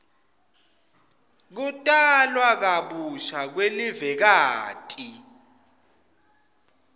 kutalwa kabusha kwelivekati